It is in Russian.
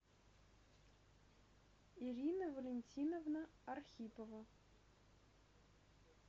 ирина валентиновна архипова